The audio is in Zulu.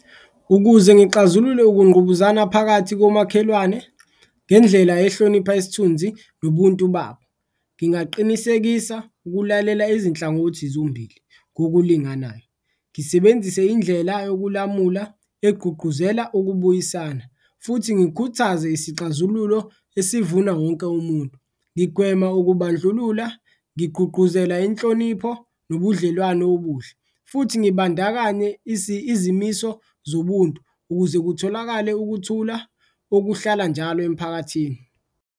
Ukuze ngixazulule ukungqubuzana phakathi komakhelwane ngendlela ehlonipha isithunzi nobuntu babo, ngingaqinisekisa ukulalela izinhlangothi zombili ngokulinganayo, ngisebenzise indlela yokulamula egqugquzela ukubuyisana futhi ngikhuthaze isixazululo esivuna wonke umuntu. Ngigwema ukubandlulula, ngigqugquzela inhlonipho nobudlelwano obuhle futhi ngibandakanye izimiso zobuntu ukuze kutholakale ukuthula okuhlala njalo emphakathini.